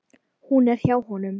Hún er hjá honum.